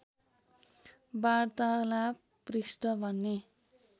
वार्तालाप पृष्ठ भन्ने